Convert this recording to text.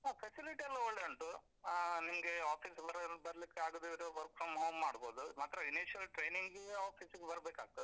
ಹಾ facility ಎಲ್ಲಾ ಒಳ್ಳೆ ಉಂಟು, ಆ ನಿಮ್ಗೆ office ಬರ್ಲಿಕ್ಕೆ ಆಗದಿದ್ರೂ work from home ಮಾಡ್ಬೋದು, ಮಾತ್ರ initial training ಗೆ office ಗೆ ಬರ್ಬೇಕಾಗ್ತದೆ.